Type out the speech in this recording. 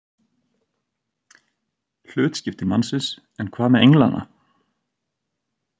Hlutskipti mannsins, en hvað með englana?